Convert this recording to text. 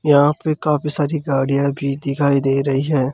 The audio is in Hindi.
यहां पे काफी सारी गाड़ियां भी दिखाई दे रही हैं।